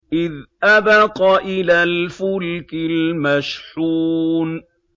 إِذْ أَبَقَ إِلَى الْفُلْكِ الْمَشْحُونِ